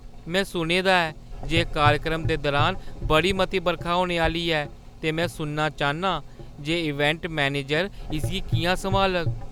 में सुने दा ऐ जे कार्यक्रम दे दुरान बड़ी मती बरखा होने आह्‌ली ऐ ते में सुनना चाह्‌न्नां जे इवैंट मैनेजर इसगी किʼयां संभालग।